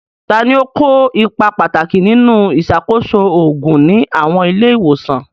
Ta ni ó kó ipa pàtàkì nínú ìṣàkóso òògùn ní àwọn ilé ìwòsàn?